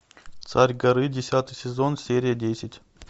царь горы десятый сезон серия десять